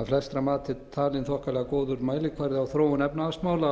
að flestra mati talin þokkalega góður mælikvarði á þróun efnahagsmála